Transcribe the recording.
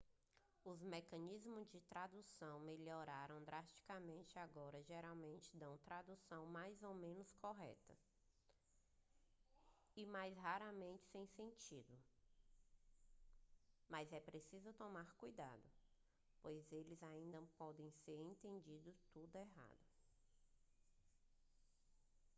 os mecanismos de tradução melhoraram drasticamente e agora geralmente dão traduções mais ou menos corretas e mais raramente sem sentido mas é preciso tomar cuidado pois eles ainda podem ter entendido tudo errado